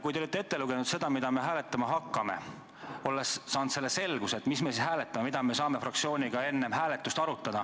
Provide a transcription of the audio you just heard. Kui te olite ette lugenud, mida me hääletama hakkame, siis olles saanud selguse, mida me hääletame, tahtsime me oma fraktsioonis enne hääletust asja arutada.